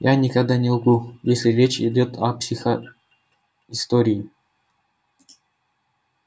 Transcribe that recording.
я никогда не лгу если речь идёт о психоистории